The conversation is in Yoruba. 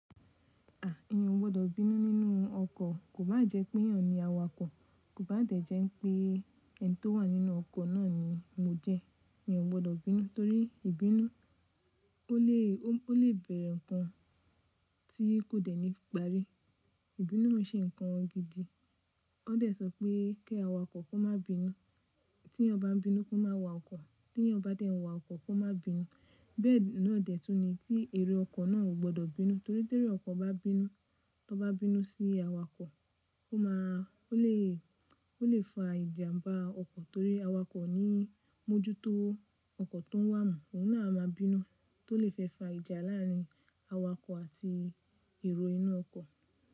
Èyàn ò gbọdọ̀ bínú nínú ọkọ̀, kò bá jẹ pé èyàn ni awakọ̀, kò bá dẹ̀ jẹ ń pé ẹni tó wà nínú ọkọ̀ náà ni mo jẹ́. Èyàn ò gbọdọ̀ bínú torí ìbínú ó lè, ó lè bẹ̀rẹ̀ ǹkan tí kò dẹ̀ ní iparí. Ìbínú ó ń ṣe ǹkan gidi. Wọ́n dẹ̀ sọ pé kí awa kankan má bínú, tí eyan ba m bínú kó má wa ọkọ̀, tí eyan ba dẹ̀ ń wa ọkọ̀ kó má bínú. Bẹ́ẹ̀ náà dẹ̀ tún ni tí èrò ọkọ̀ náà ò gbọdọ̀ bínú torí tí ero ọkọ̀ bá bínú, tó bá bínú sí awakọ̀, ó máa, ó lè, ó lè fa ìjàmbá ọkọ̀ torí awakọ̀ o ní mọ́jútó ọkọ̀ tó ń wà mú, òun náà a má bínú tó lè fẹ́ fa ìjà láàárín awakọ̀ àti èrò inú ọkọ̀.